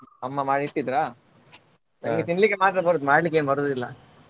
ಅಮ್ಮ ಮಾಡಿ ಇಟ್ಟಿದ್ರಾ ನಂಗೆ ತಿನ್ಲಿಕ್ಕೆ ಮಾತ್ರ ಬರೋದು ಮಾಡ್ಲಿಕ್ಕೇನ್ ಬರುದಿಲ್ಲ.